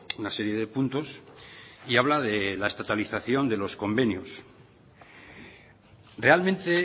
una serie de puntos y habla de estatalización de los convenios realmente